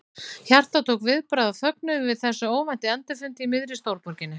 Hjartað tók viðbragð af fögnuði yfir þessum óvænta endurfundi í miðri stórborginni.